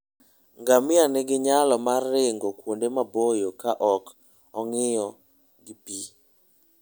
Ngamia nigi nyalo mar ringo kuonde maboyo ka ok ong'iyo gi pi.